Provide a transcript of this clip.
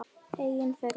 Engin furða.